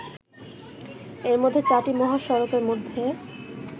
এর মধ্যে চারটি মহাসড়কের মধ্যে